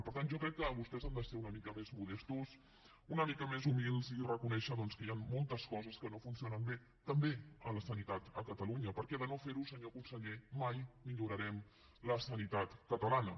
per tant jo crec que vostès han de ser una mica més modestos una mica més humils i reconèixer doncs que hi ha moltes coses que no funcionen bé també en la sanitat a catalunya perquè si no ho fa senyor conseller mai millorarem la sanitat catalana